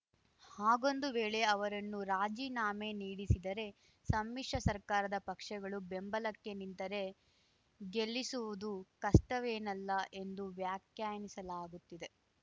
ಹಾಗೊಂದು ವೇಳೆ ಅವರನ್ನು ರಾಜಿನಾಮೆ ನೀಡಿಸಿದರೆ ಸಮ್ಮಿಶ್ರ ಸರ್ಕಾರದ ಪಕ್ಷಗಳು ಬೆಂಬಲಕ್ಕೆ ನಿಂತರೆ ಗೆಲ್ಲಿಸುವುದು ಕಷ್ಟವೇನಲ್ಲ ಎಂದು ವ್ಯಾಖ್ಯಾನಿಸಲಾಗುತ್ತಿದೆ